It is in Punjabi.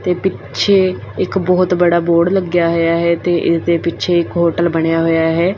ਤੇ ਪਿੱਛੇ ਇੱਕ ਬਹੁਤ ਬੜਾ ਬੋਰਡ ਲੱਗਿਆ ਹੋਇਆ ਹੈ ਤੇ ਇਸਦੇ ਪਿੱਛੇ ਇੱਕ ਹੋਟਲ ਬਣਿਆ ਹੋਇਆ ਹੈ।